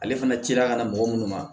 Ale fana cira ka na mɔgɔ minnu ma